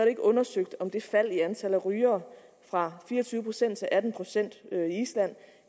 ikke undersøgt om det fald i antallet af rygere fra fire og tyve procent til atten procent i island